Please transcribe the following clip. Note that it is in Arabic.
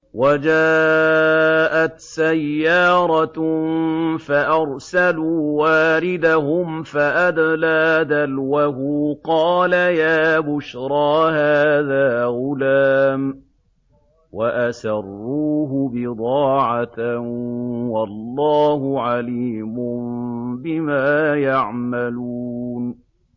وَجَاءَتْ سَيَّارَةٌ فَأَرْسَلُوا وَارِدَهُمْ فَأَدْلَىٰ دَلْوَهُ ۖ قَالَ يَا بُشْرَىٰ هَٰذَا غُلَامٌ ۚ وَأَسَرُّوهُ بِضَاعَةً ۚ وَاللَّهُ عَلِيمٌ بِمَا يَعْمَلُونَ